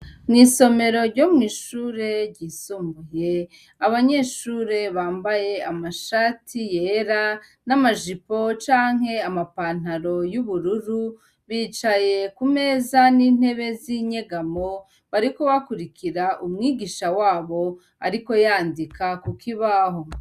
Mu isomero ryo mu ishure ryisumbuye abanyeshure bambaye amashati yera n'amajipo canke amapantaro y'ubururu bicaye ku meza n'intebe z'inyegamo bariko bakurikira umwigisha wabo ariko yandika kukibaho.